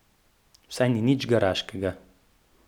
Vsaj nič garaškega.